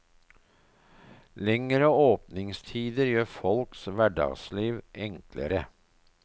Lengre åpningstider gjør folks hverdagsliv enklere.